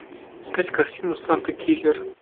искать картину санта киллер